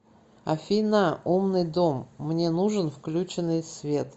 афина умный дом мне нужен включенный свет